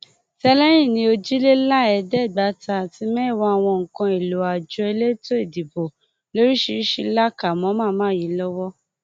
tẹlẹyìn ní ojiléláéédégbáta àti mẹwàá àwọn nǹkan èèlò àjọ elétò ìdìbò lóríṣìíríṣìí la kà mọ màmá yìí lọwọ